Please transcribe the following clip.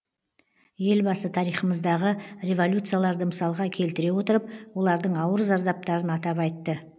елбасы тарихымыздағы революцияларды мысалға келтіре отырып олардың ауыр зардаптарын атап айтты